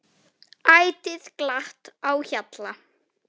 Ætíð glatt á hjalla.